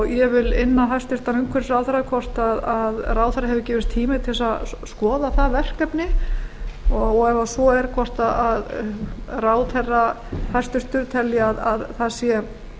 ég vil inna hæstvirtur umhverfisráðherra hvort ráðherra hefur gefist tími til þess að skoða það verkefni og ef svo er hvort ráðherra hæstvirtrar telji að það sé